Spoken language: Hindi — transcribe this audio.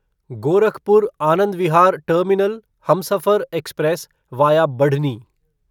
Gorakhpur Anand Vihar terminal Humsafar express via Barhni